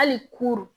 Hali kurun